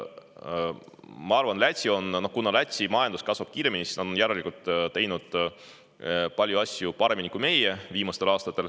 Ma arvan, et kuna Läti majandus kasvab kiiremini, siis nad on järelikult teinud viimastel aastatel paljusid asju paremini kui meie.